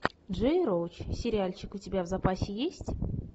джей роуч сериальчик у тебя в запасе есть